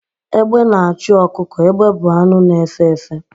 Egbe na-achụ ọkụkọ. Egbe bụ anụ na-efe efe